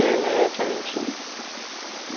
Ele tinha vinte um. Vinte um?